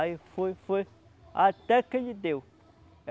Aí foi, foi... Até que ele deu.